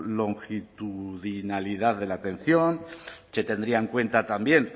longitudinalidad de la atención que tendría en cuenta también